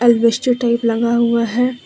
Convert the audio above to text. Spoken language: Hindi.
एलवेस्टर टाइप लगा हुआ है।